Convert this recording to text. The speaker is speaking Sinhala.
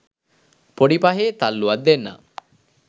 පොඩි පහේ තල්ලුවක් දෙන්නම්